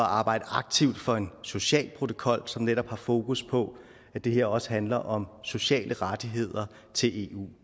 arbejde aktivt for en social protokol som netop har fokus på at det her også handler om sociale rettigheder til eu